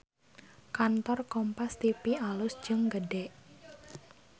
Kantor Kompas TV alus jeung gede